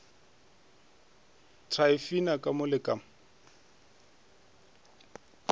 tryphina ka mo le ka